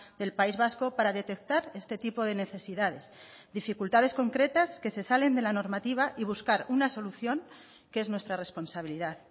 del país vasco para detectar este tipo de necesidades dificultades concretas que se salen de la normativa y buscar una solución que es nuestra responsabilidad